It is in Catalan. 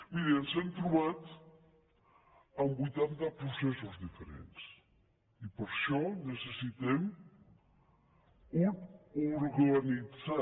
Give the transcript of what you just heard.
miri ens hem trobat amb vuitanta processos diferents i per això necessitem organitzar